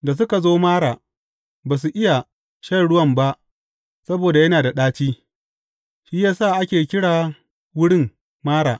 Da suka zo Mara, ba su iya shan ruwan ba saboda yana da ɗaci shi ya sa ake kira wurin Mara.